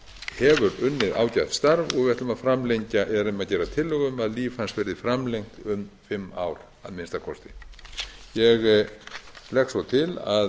hefur unnið ágætt starf og við erum að gera tillögu um að líf hans verði framlengt um fimm ár að minnsta kosti ég legg svo til að